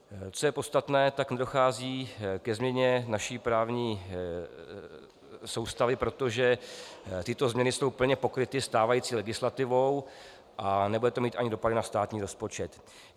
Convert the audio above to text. Co je podstatné, tak nedochází ke změně naší právní soustavy, protože tyto změny jsou plně pokryty stávající legislativou, a nebude to mít ani dopady na státní rozpočet.